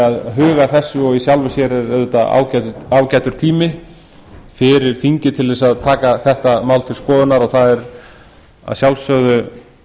að huga að þessu og í sjálfu sér er auðvitað ágætur tími fyrir þingið til að taka þetta mál til skoðunar og það er að sjálfsögðu